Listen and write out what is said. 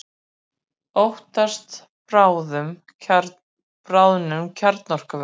Óttast bráðnun kjarnorkuvers